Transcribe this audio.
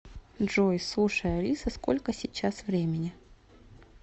джой слушай алиса сколько сейчас времени